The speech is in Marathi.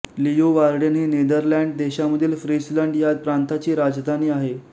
लीयुवार्डेन ही नेदरलँड्स देशामधील फ्रीसलंड ह्या प्रांताची राजधानी आहे